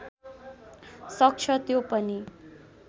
सक्छ त्यो पनि